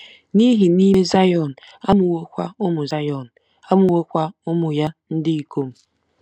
N'ihi na ime Zayọn amụwokwa ụmụ Zayọn amụwokwa ụmụ ya ndị ikom. ”